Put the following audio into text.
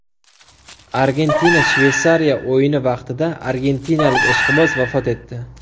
Argentina Shveysariya o‘yini vaqtida argentinalik ishqiboz vafot etdi.